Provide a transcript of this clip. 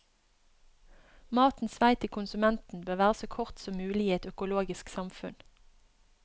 Matens vei til konsumenten bør være så kort som mulig i et økologisk samfunn.